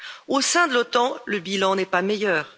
Au sein de l'OTAN, le bilan n'est pas meilleur.